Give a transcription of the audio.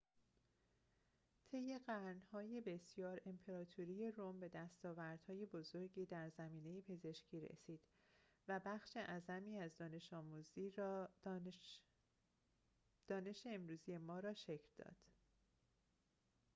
طی قرن‌های بسیار امپراتوری روم به دستاوردهای بزرگی در زمینه پزشکی رسید و بخش اعظمی از دانش امروزی ما را شکل داد